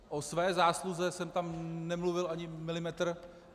O své zásluze jsem tam nemluvil ani milimetr.